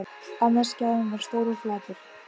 Annar skjárinn var stór og flatur.